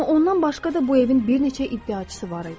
Amma ondan başqa da bu evin bir neçə iddiaçısı var idi.